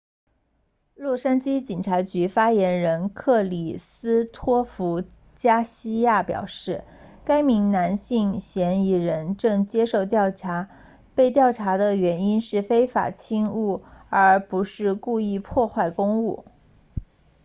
洛杉矶警察局发言人克里斯托弗加西亚 christopher garcia 表示该名男性嫌疑人正接受调查被调查的原因是非法侵入而不是故意破坏公物